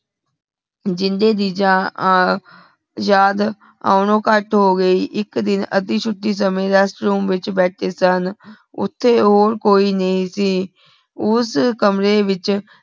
ਜਿੰਦੇ ਦੀ ਆਹ ਯਾਦ ਆਉਣਾ ਘੱਟ ਹੋਗੀ ਇਕ ਦਿਨ ਅਧਿ ਛੁਟੀ ਸਮੇ rest room ਵਿਚ ਬੈਠੀ ਸਨ ਓਥੇ ਹੋਰ ਕੋਈ ਨਹੀਂ ਸੀ ਓਸ ਕਮਰੇ ਵਿਚ